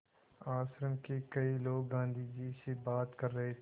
आश्रम के कई लोग गाँधी जी से बात कर रहे थे